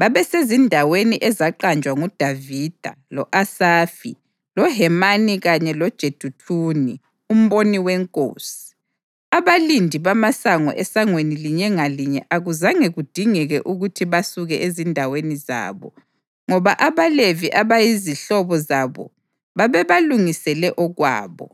babesezindaweni ezaqanjwa nguDavida, lo-Asafi, loHemani kanye loJeduthuni umboni wenkosi. Abalindi bamasango esangweni linye ngalinye akuzange kudingeke ukuthi basuke ezindaweni zabo, ngoba abaLevi abayizihlobo zabo babebalungisele okwabo.